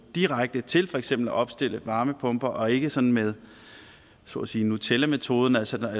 direkte til for eksempel at opstille varmepumper og ikke sådan med så at sige nutellametoden altså